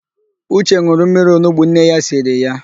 Ụche n̄ụrụ mmiri onugbo nne ya siri ya.